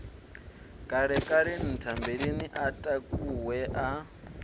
kalekale nthambeleni a takuwe a